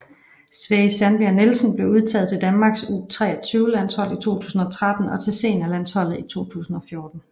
Sverri Sandberg Nielsen blev udtaget til Danmarks U23 landshold i 2013 og til senior landsholdet i 2014